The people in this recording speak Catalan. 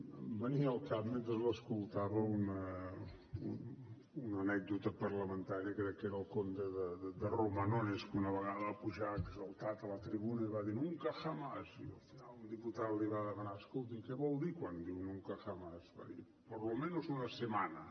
em venia al cap mentre l’escoltava una anècdota parlamentària crec que era el conde de romanones que una vegada va pujar exaltat a la tribuna i va dir nunca jamás i al final un diputat li va demanar escolti què vol dir quan diu nunca jamás va dir por lo menos una semana